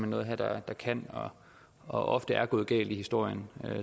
noget her der kan og ofte er gået galt i historien